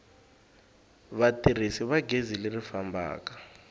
vatirhisi va gezi leri fambaka